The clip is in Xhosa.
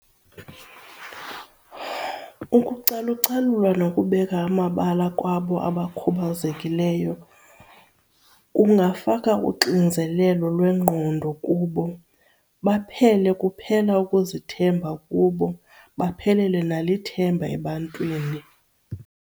Ukucalucalulwa nokubeka amabala kwabo abakhubazekileyo kungafaka uxinzelelo lwengqondo kubo baphele kuphela ukuzithemba kubo, baphelelwe nalithemba ebantwini.